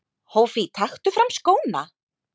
Hófí taktu fram skóna!!!!!!